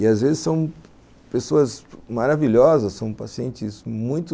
E às vezes são pessoas maravilhosas, são pacientes muito...